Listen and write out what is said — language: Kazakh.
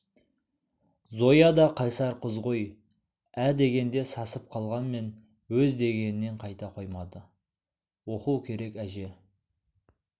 зоя да қайсар қыз ғой ә дегенде сасып қалғанмен өз дегенінен қайта қоймады оқу керек әже